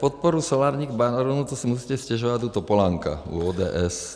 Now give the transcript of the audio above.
Podpora solárních baronů - to si musíte stěžovat u Topolánka, u ODS.